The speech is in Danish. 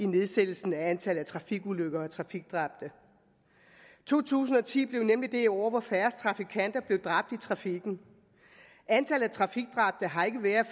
nedsættelse af antallet af trafikulykker og trafikdræbte to tusind og ti blev nemlig det år hvor færrest trafikanter blev dræbt i trafikken antallet af trafikdræbte har ikke været